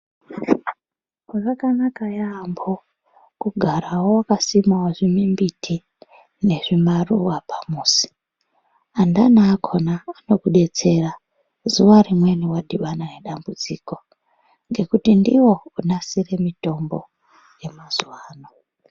Zvakanaka yambo kugarawo wakasima zvimumbiti nezvimaruwa pamuzi andani akona anodetsera zuwa rimweni wadhibana nedambudziko nekuti ndiwo onasira mitombo yemazuwa ano.